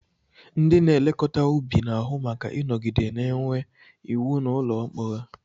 Ndị na-elekọta ubi na-ahụ maka ịnọgide na-enwe iwu n'ụlọ mkpọrọ